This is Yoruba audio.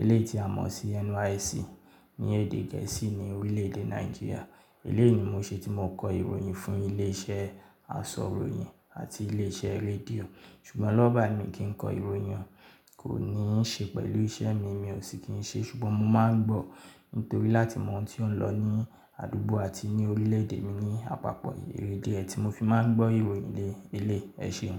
Ilé ìtìsàn mọ̀ sí NYSC ní èdè gẹ̀ẹ́sì ní orílẹ̀ èdè Nàìjíríà. Eleyìí ni mo ṣe tí mo kọ ìròyìn fún ilé iṣẹ́ aṣọ̀ròyìn àti ilé iṣẹ́ rédíò ṣùgbọ́n lọ́wọ́ báyìí mi kì í kọ ìròyìn kò ní ì ṣe pẹ̀lú iṣẹ́ mi, mi ò sì kí ń ṣe ṣùgbọ́n mo máa ń gbọ́ nítorí láti mọ ohun tí ó ń lọ ní àdúgbò àti ní orílẹ̀ èdè mi ní àpapọ̀ èrèdì ẹ́ ti mo fi máa ń gbọ́ ìròyìn ilé ẹṣeun.